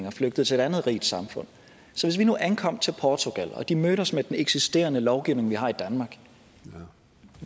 og flygtede til et andet rigt samfund så hvis vi nu ankom til portugal og de mødte os med den eksisterende lovgivning vi har i danmark